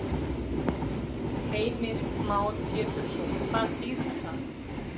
Heimir Már Pétursson: Hvað þýðir það?